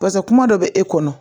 Pasa kuma dɔ bɛ e kɔnɔ